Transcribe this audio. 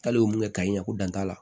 K'ale ye mun kɛ ka ɲɛ ko dan t'a la